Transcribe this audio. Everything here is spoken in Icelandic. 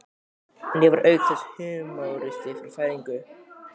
En ég var auk þess húmoristi frá fæðingu.